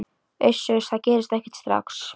Uss, uss, það gerist ekkert strax.